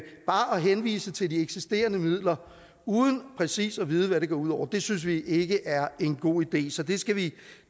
henvise til de eksisterende midler uden præcis at vide hvad det går ud over synes vi ikke er en god idé så det skal vi